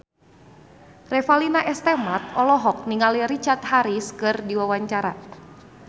Revalina S. Temat olohok ningali Richard Harris keur diwawancara